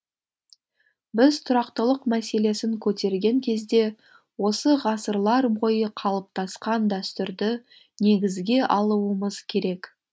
біз тұрақтылық мәселесін көтерген кезде осы ғасырлар бойы қалыптасқан дәстүрді негізге алуымыз керек